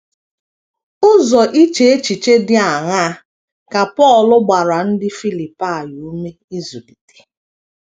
Ụzọ iche echiche dị aṅaa ka Pọl gbara ndị Filipaị ume ịzụlite?